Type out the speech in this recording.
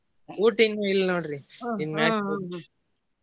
ಊಟ ಇನ್ನೂ ಇಲ್ಲ ನೋಡ್ರಿ .